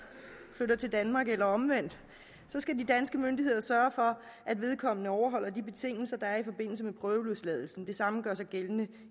flytter til danmark eller omvendt skal de danske myndigheder sørge for at vedkommende overholder de betingelser der er i forbindelse med prøveløsladelsen det samme gør sig gældende